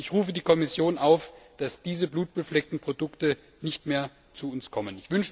Ich rufe die Kommission auf, dafür zu sorgen, dass diese blutbefleckten Produkte nicht mehr zu uns kommen.